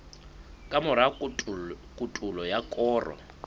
ka mora kotulo ya koro